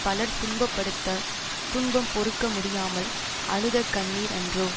பலர் துன்பப்பட்டுத்த துன்பம் பொறுக்க முடியாமல் அழுத கண்ணீர் அன்றோ